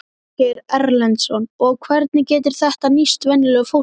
Ásgeir Erlendsson: Og hvernig getur þetta nýst venjulegu fólki?